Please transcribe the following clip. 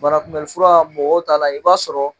Banakunbɛnfura mɔgɔw t'a la i b'a sɔrɔ